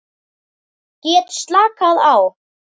Get slakað á.